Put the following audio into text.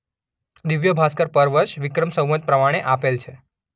દિવ્ય્ભાસ્કર પર વર્ષ વિક્રમ સંવત પ્રમાણે આપેલ છે.